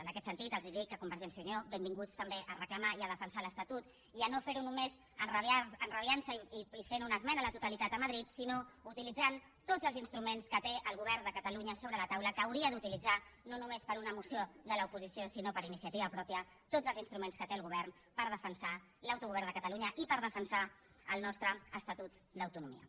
en aquest sentit els dic a convergència i unió benvinguts també a reclamar i a defensar l’estatut i a no fer ho només enrabiant se i fent una esmena a la totalitat a madrid sinó utilitzant tots els instruments que té el govern de catalunya sobre la taula que hauria d’utilitzar no només per a una moció de l’oposició sinó per iniciativa pròpia tots els instruments que té el govern per defensar l’autogovern de catalunya i per defensar el nostre estatut d’autonomia